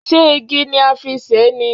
Ṣé igi ni a fi ṣe é ni?